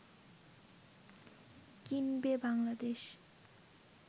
কিনবে বাংলাদেশ